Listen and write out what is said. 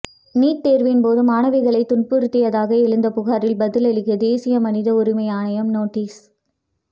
NEET தேர்வின் போது மாணவிகளை துன்புறுத்தியதாக எழுந்த புகாரில் பதிலளிக்க தேசிய மனித உரிமை ஆணையம் நோட்டீஸ்